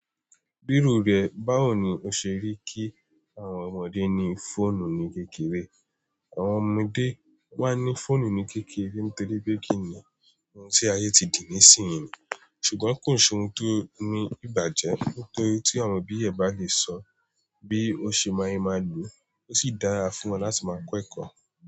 Bírò rẹ, báwo ni o ṣe rí kí àwọn ọmọdé ní fóònù ní kékeré? Àwọn ọmọdé wá ní fóònù ní kékeré nítorí pé kìíní ohun tí ayé ti dì ní ìsìnyín, ṣùgbọ́n kò ṣe ohun tó ní ìbàjẹ́. Nítorí tí àwọn òbí ẹ bá lè sọ bí ó ṣe máa ye máa lò ó sì dára fún wọn láti máa kẹ́kọ̀ọ́